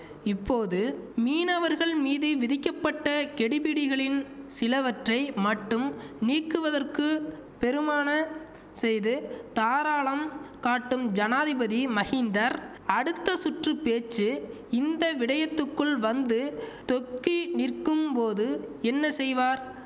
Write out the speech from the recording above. இப்போது மீனவர்கள் மீது விதிக்கப்பட்ட கெடிபிடிகளின் சிலவற்றை மட்டும் நீக்குவதற்கு பெருமான செய்து தாராளம் காட்டும் ஜனாதிபதி மஹிந்தர் அடுத்த சுற்று பேச்சு இந்த விடயத்துக்குள் வந்து தொக்கி நிற்கும்போது என்ன செய்வார்